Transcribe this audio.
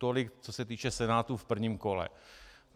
Tolik, co se týče Senátu v prvním kole.